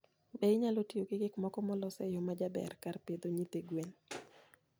Be inyalo tiyo gi gik moko molos e yo majaber kar pidho nyithi gwen?